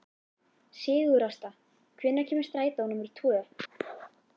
Sigurásta, hvenær kemur strætó númer tvö?